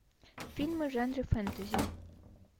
фильмы в жанре фэнтези